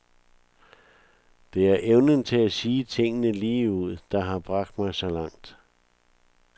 Det er evnen til at sige tingene lige ud, der har bragt mig så langt.